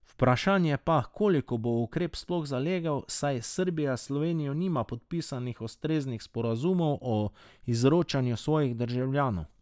Vprašanje pa, koliko bo ukrep sploh zalegel, saj Srbija s Slovenijo nima podpisanih ustreznih sporazumov o izročanju svojih državljanov ...